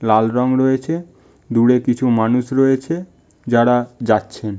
লাল রং রয়েছে দূরে কিছু মানুষ রয়েছে যারা যাচ্ছেন --